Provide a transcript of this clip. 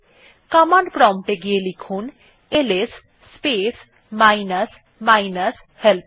command prompt এ গিয়ে লিখুন IS space minus minus help